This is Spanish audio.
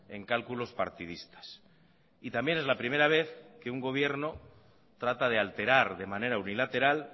en cálculos partidistas y también es la primera vez que un gobierno trata de alterar de manera unilateral